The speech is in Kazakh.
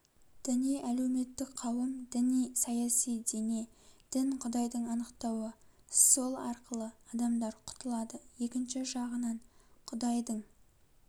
діни әлеуметтік қауым діни саяси дене дін кұдайдың анықтауы сол арқылы адамдар құтылады екінші жағынан құдайдың